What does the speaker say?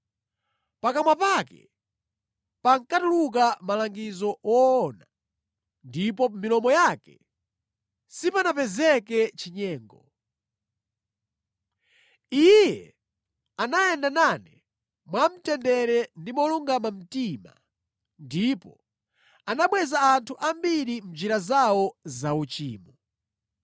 Pakamwa pake pankatuluka malangizo woona, ndipo pa milomo yake sipanapezeke chinyengo. Iye anayenda nane mwamtendere ndi molungama mtima, ndipo anabweza anthu ambiri mʼnjira zawo zauchimo.